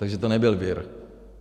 Takže to nebyl vir.